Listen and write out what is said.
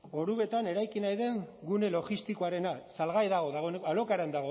orubetan eraiki nahi den gune logistikoarena salgai dago alokairuan